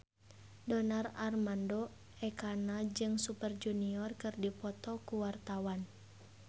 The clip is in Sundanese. Donar Armando Ekana jeung Super Junior keur dipoto ku wartawan